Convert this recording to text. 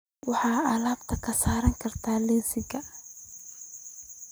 Waxaad alaabtan ka saari kartaa liiska